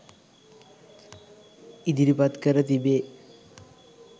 ඉදිරිපත් කර තිබේ.